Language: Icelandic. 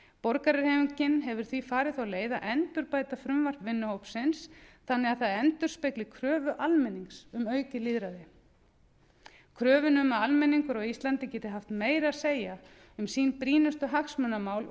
borgarahreyfingin hefur því farið þá leið að endurbæta frumvarp vinnuhópsins þannig að það endurspegli kröfu almennings um aukið lýðræði kröfuna um að almenningur á íslandi geti haft meira að segja um sín brýnustu hagsmunamál og